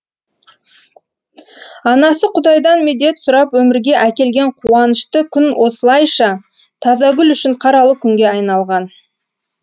анасы құдайдан медет сұрап өмірге әкелген қуанышты күн осылайша тазагүл үшін қаралы күнге айналған